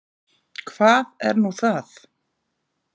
Hvað er nú það?